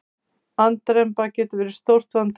Andremma getur verið stórt vandamál.